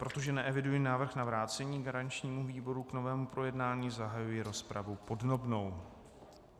Protože neeviduji návrh na vrácení garančnímu výboru k novému projednání, zahajuji rozpravu podrobnou.